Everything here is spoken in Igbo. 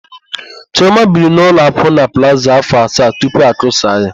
Chiọma biri n'ụlọ akwụna Plaza áfọ̀ asaa tupu akụsaa ya.